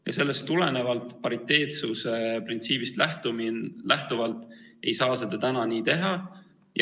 Ja sellest tulenevalt, pariteetsuse printsiibist lähtuvalt ei saa seda praegu nii teha.